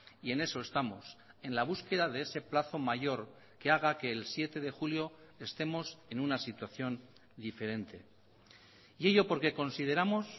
y en eso estamos en la búsqueda de ese plazo mayor que haga que el siete de julio estemos en una situación diferente y ello porque consideramos